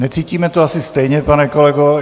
Necítíme to asi stejně, pane kolego.